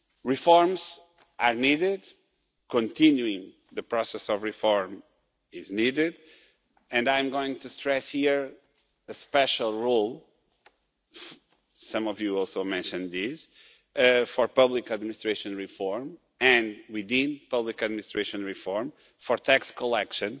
Reforms are needed, continuing the process of reform is needed, and I am going to stress here a special role some of you also mentioned this for public administration reform, and we deem public administration reform for tax collection.